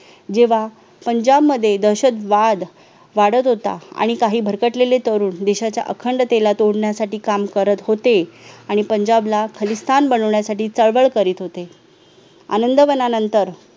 जेव्हा पंजाब मध्ये दहशतवाद वाढत होता आणि काही भरकटलेले तरुण देशाच्या अखंडतेला तोडण्यासाठी काम करत होते आणि पंजाब ला खलीस्थान बनवण्यासाठी चळवळ करीत होते आनंदवनानंतर